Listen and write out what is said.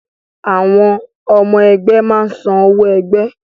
Àwọn ọmọ ẹgbẹ́ máa ń san owó ẹgbẹ́